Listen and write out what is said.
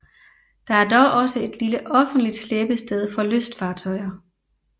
Der er dog også et lille offentligt slæbested for lystfartøjer